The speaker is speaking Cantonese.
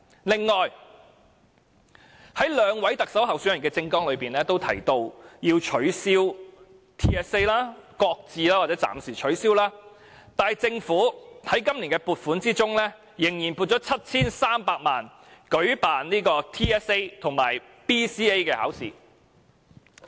此外，在兩位特首候選人的政綱中均提到要取消、擱置或暫時取消 TSA， 但政府卻仍在今年撥款中撥出 7,300 萬元舉辦 TSA 及 BCA 考試。